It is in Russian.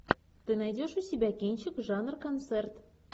ты найдешь у себя кинчик жанр концерт